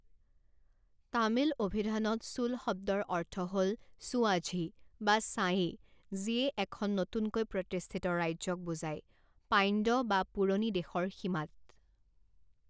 তামিল অভিধানত চোল শব্দৰ অৰ্থ হ'ল ছোআঝী বা ছায়েই যিয়ে এখন নতুনকৈ প্ৰতিষ্ঠিত ৰাজ্যক বুজায়, পাণ্ড্য বা পুৰণি দেশৰ সীমাত।